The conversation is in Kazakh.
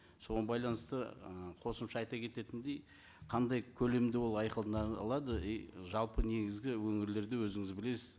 соған байланысты ы қосымша айта кететіндей қандай көлемде ол айқындалады и жалпы негізгі өңірлерде өзіңіз білесіз